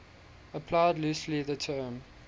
applied loosely the term